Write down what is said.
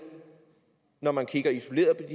når man kigger isoleret